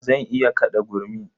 Zan iya kaɗa gurmi.